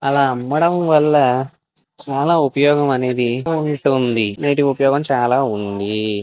అలా అమ్మడం వల్ల చాలా ఉపయోగం అనేది ఉంటుంది. వీటి ఉపయోగం చాలా ఉంది.